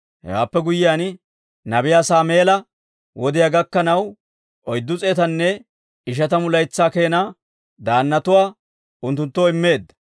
Hewaappe guyyiyaan, nabiyaa Saameela wodiyaa gakkanaw, oyddu s'eetanne ishatamu laytsaa keenaa daannatuwaa unttunttoo immeedda.